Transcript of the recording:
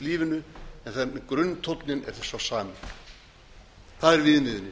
lífinu en grunntónninn er sá sami það er viðmiðunin